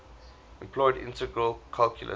employed integral calculus